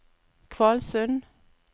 Kvalsund